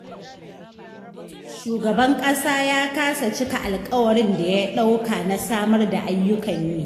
Shugaban ƙasa ya kasa cika alƙawarin da ya ɗauka na samar da ayyukan yi